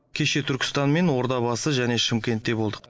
кеше түркістан мен ордабасы және шымкентте болдық